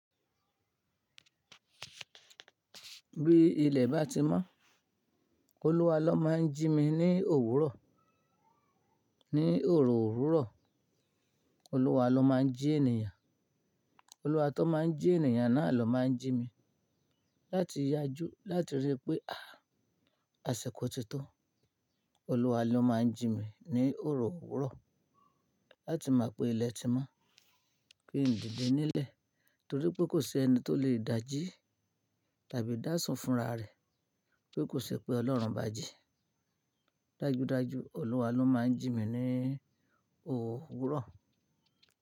Bí ilẹ̀ bá ti mọ́, Olúwa lọ máa ń jí mi ní òwúrọ̀, ní òrò òwúrọ̀. Olúwa lọ máa ń jí ènìyàn, Olúwa atọ́ máa ń jí ènìyàn náà lọ máa ń jí mi. Láti yá ju, láti rí pé à, àsẹ̀kọ tí tó. Olúwa ló máa ń jí mi ní òrò òwúrọ̀. Láti máa pe ilẹ̀ ti mọ́. Kí n dìde nílẹ̀. Torí pé kò sí ẹni tó lè dáa jí tàbí dáàsùn fúnra rẹ̀. Pé kò ṣe pé Ọlọ́run báa jí. Dájú dájú Olúwa ló máa ń jí mi ní òwúrọ̀